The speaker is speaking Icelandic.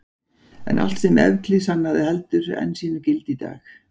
En allt sem Evklíð sannaði heldur enn sínu gildi í dag.